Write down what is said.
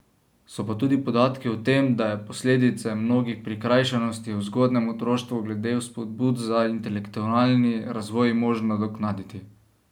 So pa tudi podatki o tem, da je posledice mnogih prikrajšanosti v zgodnjem otroštvu glede vzpodbud za intelektualni razvoj možno nadoknaditi.